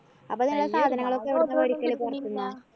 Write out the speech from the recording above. അപ്പോ നിങ്ങള് സാധനങ്ങളൊക്കെ എവിടന്നാ വേടിക്കല് പൊറത്തുന്നാ?